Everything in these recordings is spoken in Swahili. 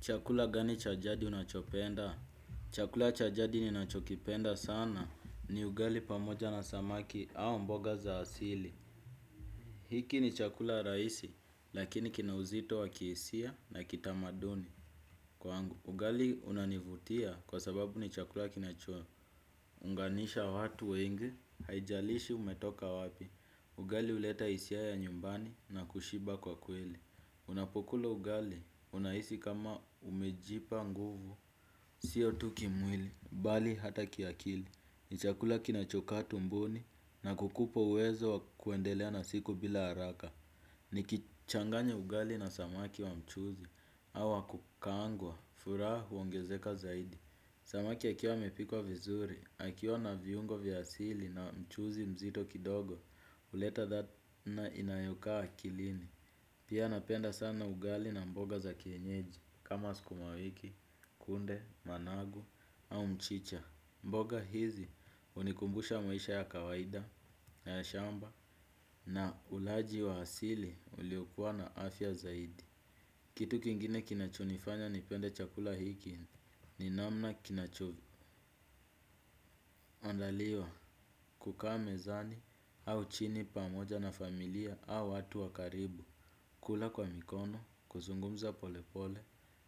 Chakula gani chajadi unachopenda? Chakula cha jadi ninachokipenda sana ni ugali pamoja na samaki au mboga za asili. Hiki ni chakula rahisi lakini kina uzito wakihisia na kitamaduni kwangu. Ugali unanivutia kwa sababu ni chakula kinacho unganisha watu wengi, haijalishi umetoka wapi. Ugali huleta hisia ya nyumbani na kushiba kwa kweli. Unapokula ugali, unahisi kama umejipa nguvu. Sio tu kimwili, bali hata kiakili. Ni chakula kinachokaa tumboni na kukupo uwezo kuendelea na siku bila haraka. Nikichanganya ugali na samaki wa mchuzi au wa kukaangwa, furaha, huongezeka zaidi. Samaki akiwa amepikwa vizuri, akiwa na viungo vya asili na mchuzi mzito kidogo huleta latha inayokaa akilini. Pia napenda sana ugali na mboga za kienyeji kama sukumawiki, kunde, managu au mchicha. Mboga hizi hunikumbusha maisha ya kawaida, ya shamba na ulaji wa asili uliokuwa na afya zaidi. Kitu kingine kinachonifanya nipende chakula hiki ni namna kinachoandaliwa kukaa mezani au chini pamoja na familia au watu wa karibu. Kula kwa mikono, kuzungumza polepole,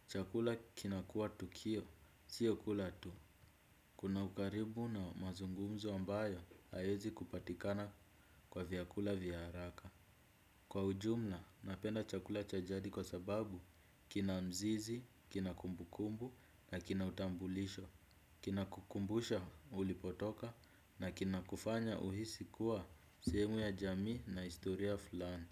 chakula kinakuwa tukio sio kula tu. Kuna ukaribu na mazungumzo ambayo hayawezi kupatikana kwa vyakula vya haraka. Kwa ujumla, napenda chakula cha jadi kwa sababu, kinamzizi, kinakumbukumbu na kina utambulisho, kinakukumbusha ulipotoka na kinakufanya uhisi kuwa sehemu ya jamii na historia fulani.